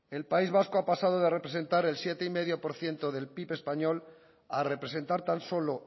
el país vasco ha pasado de representar el siete coma cinco por ciento del pib español a representar tan solo